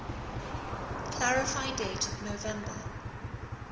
clarify date november